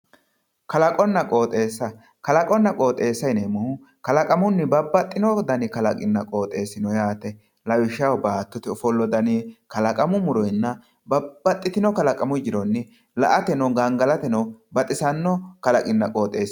kalaqonna qooxeessa, kalaqonna qooxeesa yineemmohu kalaqamunni babbaxino dani kalaqinna qooxeesi no yaate, lawishshaho baattote ofollo dani, kalaqamu muronna babbaxxitno kalaqamu jironni la''atenna gangalatate baxisanno kalaqinna qooxeessi no.